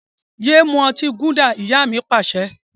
Yé mú ọtí gúdà! Ìyá mi Pàṣẹ.